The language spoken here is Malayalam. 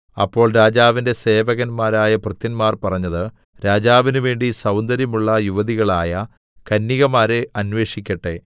അപ്പോൾ രാജാവിന്റെ സേവകന്മാരായ ഭൃത്യന്മാർ പറഞ്ഞത് രാജാവിന് വേണ്ടി സൗന്ദര്യമുള്ള യുവതികളായ കന്യകമാരെ അന്വേഷിക്കട്ടെ